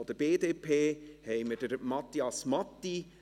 Von der BDP haben wir Matthias Matti;